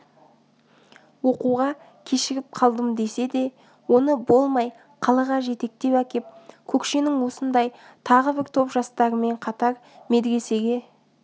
оқуға кешігіп қалдым десе де оны болмай қалаға жетектеп әкеп көкшенің осындай тағы бір топ жастарымен қатар медресеге